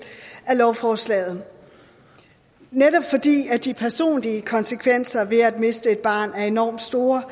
af lovforslaget netop fordi de personlige konsekvenser ved at miste et barn er enormt store